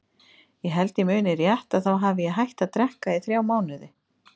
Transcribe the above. Ég held ég muni rétt að þá hafi ég hætt að drekka í þrjá mánuði.